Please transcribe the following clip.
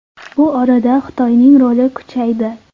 Bu orada Xitoyning roli kuchaydi.